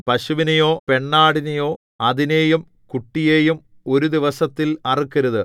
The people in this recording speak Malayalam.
പശുവിനെയോ പെണ്ണാടിനെയോ അതിനെയും കുട്ടിയെയും ഒരു ദിവസത്തിൽ അറുക്കരുത്